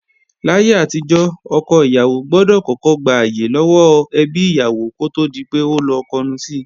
Láyé àtijọ́, ọkọ ìyàwó gbọdọ̀ kọ́kọ́ gbàyè lọ́wọ́ ẹbí ìyàwó kó tó di pé ó lọ kọnu si